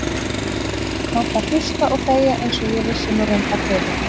Kannt að hlusta og þegja einsog ég vissi nú reyndar fyrir.